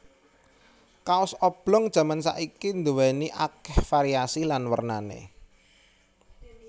Kaos oblong jaman saiki duwéni akéh variasi lan wernané